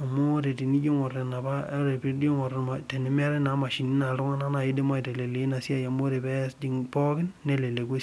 amu ore tenijo aingu tenemeetae imashini neleku esiai